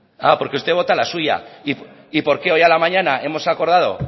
ah porque usted vota a la suya y por qué hoy a la mañana hemos acordado